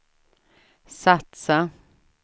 satsa